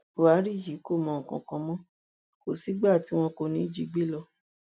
buhari yìí kò mọ nǹkan kan mọ kò sígbà tí wọn kò ní í jí gbé lọ